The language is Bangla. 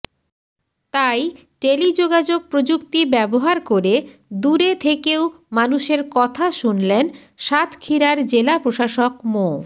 তাই টেলিযোগাযোগ প্রযুক্তি ব্যবহার করে দূরে থেকেও মানুষের কথা শুনলেন সাতক্ষীরার জেলা প্রশাসক মো